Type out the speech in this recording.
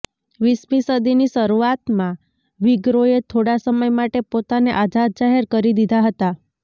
વીસમી સદીની શરૂઆતમાં વીગરોએ થોડાં સમય માટે પોતાને આઝાદ જાહેર કરી દીધાં હતાં